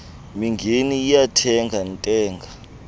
mingeni iyantenga ntenga